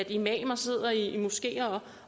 imamer sidder i moskeer